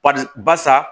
Barisa barisa